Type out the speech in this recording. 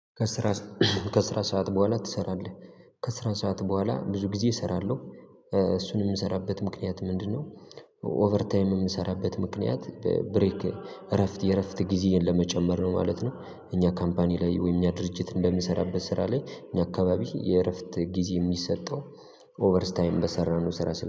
ከስራ ሰዓት በኋላ ትሰራለህ? ከስራ ሰዓት በኋላ ብዙ ጊዜ እሰራለሁ እሱን የምሰራበት ምክንያት ምንድነው ኦቨርታይም የምንሰራበት ምክንያት ብሬክ እረፍት የእረፍት ጊዜ ለመጨመር ነው ማለት ነው። እኛ ካምፓኒ ላይ ወይም እኛ ድርጅት በምሰራበት ስራ ላይ እኛ አካባቢ የእረፍት ጊዜ የሚሰጠው ኦቨርታይም በሰራነው ስራ